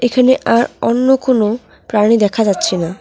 এখানে আর অন্য কোন প্রাণী দেখা যাচ্ছে না।